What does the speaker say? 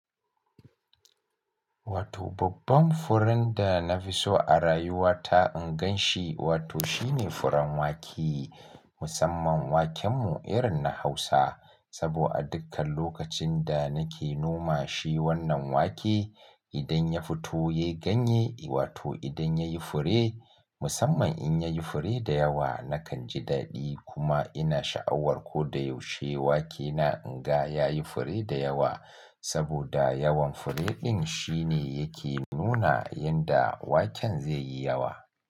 Wato babban furen da na fi so a rayuwa ta in gan shi, wato shi ne furen wake. Musamman waken mu irin na Hausa. Sabo a dukkan lokacin da nake noma shi wannan wake, idan ya fito yayi ganye, wato idan ya yi fure, musamman in ya yi fure da yawa, nakan ji daɗi. Kuma ina sha'awar ko da yaushe wake na in ga ya yi fure da yawa. Saboda yawan fure ɗin shi ne yake nuna yanda waken zai yi yawa.